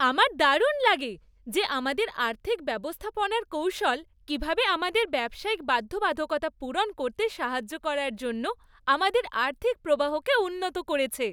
আমার দারুণ লাগে যে আমাদের আর্থিক ব্যবস্থাপনার কৌশল কীভাবে আমাদের ব্যবসায়িক বাধ্যবাধকতা পূরণ করতে সাহায্য করার জন্য আমাদের আর্থিক প্রবাহকে উন্নত করেছে।